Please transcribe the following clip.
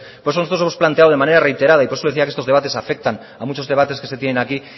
por eso nosotros hemos planteado de manera reiterada y por eso le decía que estos debates afectan a muchos debates que se tienen aquí